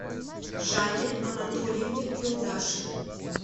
жанне анатольевне юлдашевой